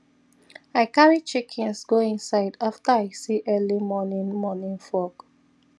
i carry chickens go inside after i see early morning morning fog